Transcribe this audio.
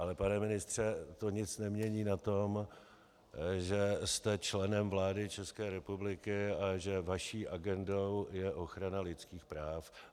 Ale pane ministře, to nic nemění na tom, že jste členem vlády České republiky a že vaší agendou je ochrana lidských práv.